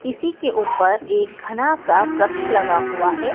इसी के ऊपर एक घना सा प्रक्ष लगा हुआ है।